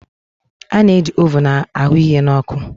A na-eji ovun a hụ ihe na ọkụ.